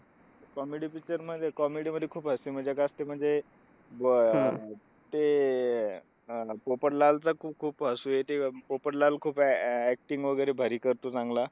Comedy picture मध्ये comedy मध्ये खूप असते म्हणजे, अं ते अह पो पोपटलाल खूप-खूप हसू येतं. पोपटलाल खूप act acting वगैरे भारी करतो चांगला.